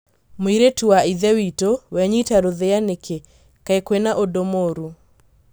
Mũriũ wa ithe witũ, wenyita rũthĩa nĩkĩ, kai kwĩna ũndũ mũũrũ?